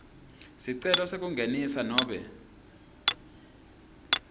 sicelo sekungenisa nobe